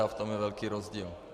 A v tom je velký rozdíl.